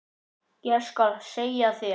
Ég skal segja þér